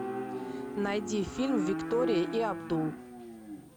найди фильм виктория и абдул